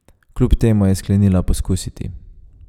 Kljub temu je sklenila poskusiti.